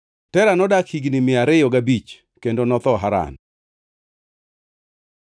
Tera nodak higni mia ariyo gabich kendo notho Haran.